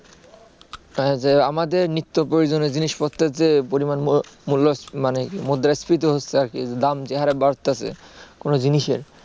আমাদের নিত্য প্রয়োজনীয় জিনিসপত্রের যে পরিমাণ মানে মুদ্রাস্ফীতি হচ্ছে আর কি দাম যে হারে বাড়তাছে কোন জিনিসের